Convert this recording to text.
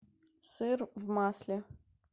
сыр в масле